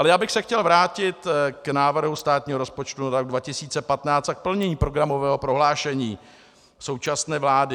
Ale já bych se chtěl vrátit k návrhu státního rozpočtu na rok 2015 a k plnění programového prohlášení současné vlády.